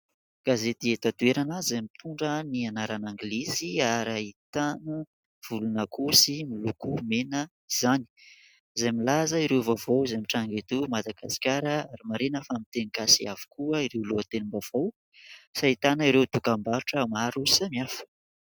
Gazety eto an-toerana izay mitondra ny anarany anglisy ary ahitana volona akoho sy miloko mena izany ; izay milaza ireo vaovao izay mitranga eto Madagasikara. Marihina fa miteny gasy avokoa ireo lohatenim-baovao sy ahitana ireo dokam-barotra maro samihafa.